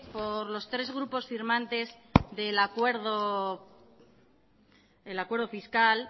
por los tres grupos firmantes del acuerdo fiscal